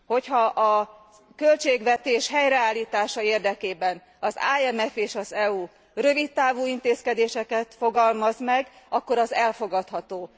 Hogy ha a költségvetés helyreállítása érdekében az IMF és az EU rövidtávú intézkedéseket fogalmaz meg, akkor az elfogadható.